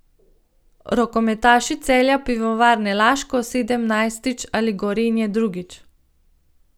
Rokometaši Celja Pivovarne Laško sedemnajstič ali Gorenja drugič?